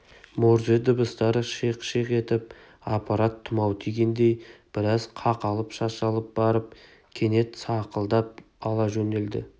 морзе дыбыстары шиқ-шиқ етіп аппарат тұмау тигендей біраз қақалып-шашалып барып кенет сақылдап ала жөнелді